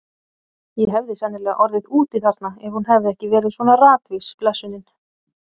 Ég hefði sennilega orðið úti þarna ef hún hefði ekki verið svona ratvís, blessunin.